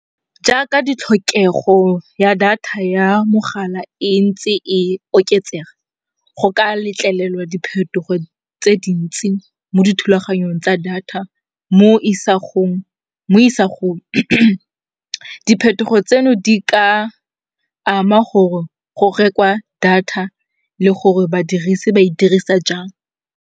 Jaaka ditlhokego ya data ya mogala e ntse e oketsega, go ka letlelelwa diphetogo tse dintsi mo dithulaganyong tsa data mo isagong. Diphetogo tseno di ka ama gore go rekwa data le gore badirisi ba e dirisa jang.